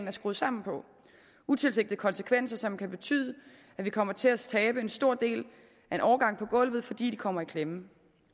er skruet sammen på utilsigtede konsekvenser som kan betyde at vi kommer til at tabe en stor del af en årgang på gulvet fordi de kommer i klemme